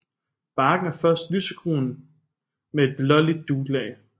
Barken er først lysegrøn med et blåligt duglag